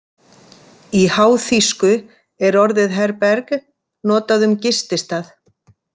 Í háþýsku er orðið Herberge notað um gististað.